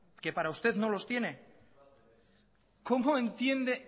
que para usted no los tiene cómo entiende